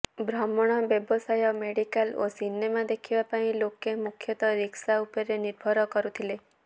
ଭ୍ରମଣ ବ୍ୟବସାୟ ମେଡିକାଲ ଓ ସିନେମା ଦେଖିବା ପାଇଁ ଲୋକେ ମୁଖ୍ୟତଃ ରିକ୍ସା ଉପରେ ନିର୍ଭର କରୁଥିଲେ